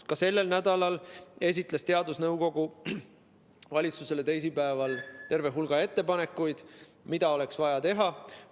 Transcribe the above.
Ka selle nädala teisipäeval esitas teadusnõukoda valitsusele terve hulga ettepanekuid, mida oleks vaja teha.